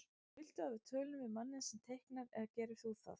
Viltu að við tölum við manninn sem teiknar eða gerir þú það?